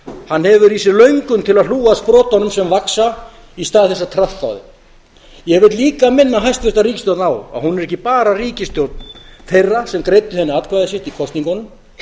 hann hefur í sér löngun til að hlúa að sprotunum sem vaxa í stað þess að traðka á erum ég vil líka minna hæstvirta ríkisstjórn á að hún er ekki bara ríkisstjórn þeirra sem greiddu henni atkvæði sitt í kosningunum